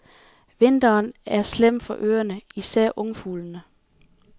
Vinteren er slem for ørnene, især ungfuglene.